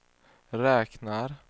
räknar